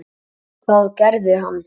Hvað gerði hann?